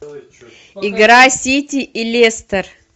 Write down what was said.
игра сити и лестер